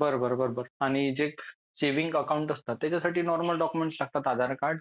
बरोबर बरोबर आणि जे सेविंग अकाउंट असतं त्याच्या नॉर्मल डॉक्युमेंट्स लागतात आधार कार्ड